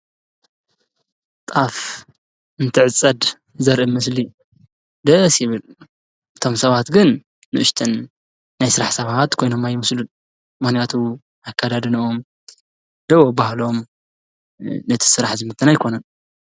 ጣፍ እንትዕጸድ ዘርኢ ምስሊ ደ ሲብል እቶም ሰባት ግን ንእሽትን ናይ ሥራሕ ሰባት ኮይኖም ይምስሉን ምኽንያቱ ኣካዳድንኦም ደው ኣባሃሎም ነቲ ሥራሕ ዝምትና ኣይኮነን።